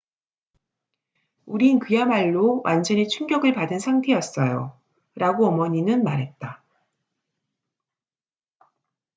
"""우린 그야말로 완전히 충격을 받은 상태였어요,""라고 어머니는 말했다.